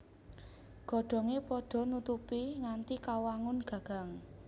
Godhongé padha nutupi nganti kawangun gagang